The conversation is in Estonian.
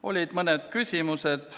Olid mõned küsimused.